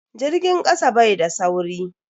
Jirgin kasa bai da sauri.